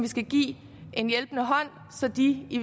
skal give en hjælpende hånd så de i